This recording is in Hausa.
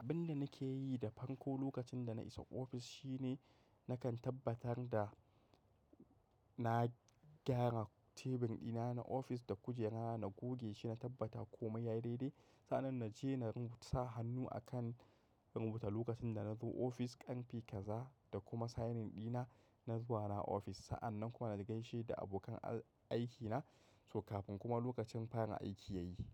Abin da nake yi da farko lokacin da na isa ofis shine nakan tabbatar da na gyara teburina na ofis da kujera na, na goge shi, na tabbata komai yayi daidai. Sa'nan na je na sa hannu a kan rubutu lokacin da na zo ofis, ƙarfe kaza da kuma signing dina, na zuwa na ofis. Sa'annan kuma na gaishe da abokan aikina kafin kuma lokacin farin aiki yayi.